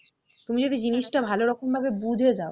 তুমি যদি জিনিসটা ভালোরকম ভাবে বুঝে যাও